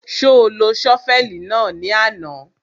Ṣo lo ṣọ́fẹ̀lì náà ní àná?